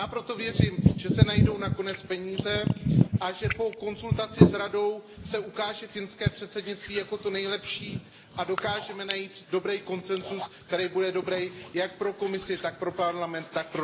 A já proto věřím, že se najdou nakonec peníze a že po konzultaci s Radou se ukáže finské předsednictví jako to nejlepší a dokážeme najít dobrý konsenzus, který bude dobrý jak pro Komisi, tak pro Parlament, tak